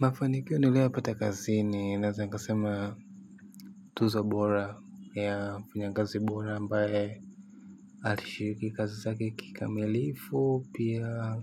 Mafanikio niliyopata kazini naeza nikasema tuzo bora ya mfanyakazi bora ambaye alishiriki kazi zake kikamilifu pia